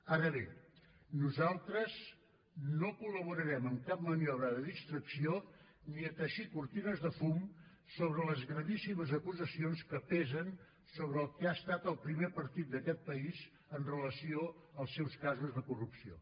ara bé nosaltres no col·laborarem en cap maniobra de distracció ni a teixir cortines de fum sobre les gravíssimes acusacions que pesen sobre el que ha estat el primer partit d’aquest país amb relació als seus casos de corrupció